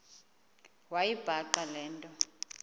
wayibhaqa le nto